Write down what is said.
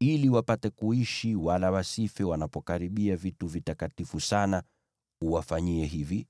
Ili wapate kuishi wala wasife wanapokaribia vitu vitakatifu sana, uwafanyie hivi: